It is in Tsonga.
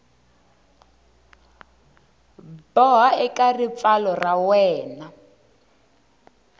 boha eka ripfalo ra wena